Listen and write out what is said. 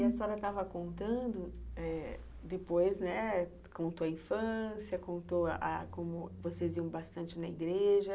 E a senhora estava contando eh depois, contou a infância, contou a como vocês iam bastante na igreja.